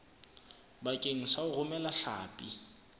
bakeng sa ho romela hlapi